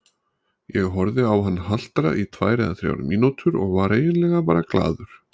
Ég horfði á hann haltra í tvær eða þrjár mínútur og var eiginlega bara glaður.